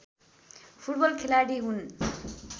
football खेलाडी हुन्